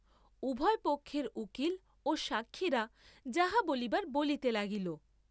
উভয় পক্ষের উকীল ও সাক্ষীরা যাহা বলিবার বলিতে লাগিল।